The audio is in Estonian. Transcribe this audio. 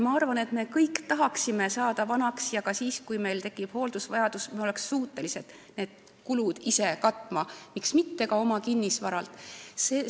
Ma arvan, et me kõik tahaksime saada vanaks ja tahaksime, et ka siis, kui meil tekib hooldusvajadus, me oleksime suutelised need kulud ise katma, miks mitte ka oma kinnisvara abil.